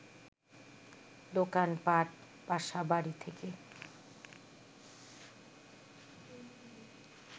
দোকানপাট, বাসা-বাড়ি থেকে